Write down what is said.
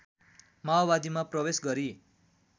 माओवादीमा प्रवेश गरी